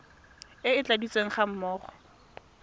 e e tladitsweng ga mmogo